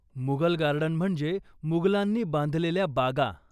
Mughal garden म्हणजे मुगलांनी बांधलेल्या बागा.